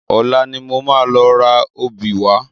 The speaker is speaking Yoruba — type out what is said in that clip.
Ọ̀la ni mo máa lọ ra obì wá